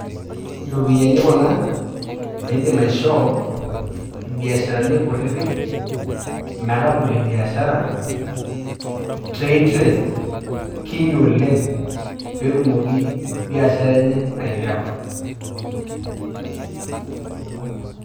Ropiani kuna naa idiim ashoo biasharani nkutiti metabolie biasharaa te interest kiinyi oleng pee etumooki biasharaa enye aileapa.